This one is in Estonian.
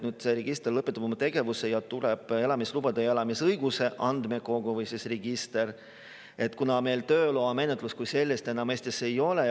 Register lõpetab oma tegevuse ja tuleb elamislubade ja elamisõiguse andmekogu või register, kuna meil tööloa menetlust kui sellist enam Eestis ei ole.